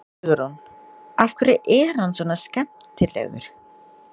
Hugrún: Af hverju er hann svona skemmtilegur?